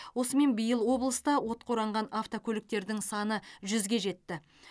осымен биыл облыста отқа оранған автокөліктердің саны жүзге жетті